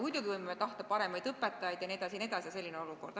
Muidugi võime tahta paremaid õpetajaid jne, aga selline on olukord.